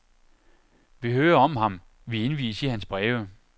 Vi hører om ham, vi indvies i hans breve.